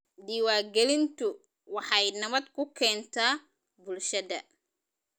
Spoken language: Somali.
Diiwaangelintu waxay nabad ku keentaa bulshada.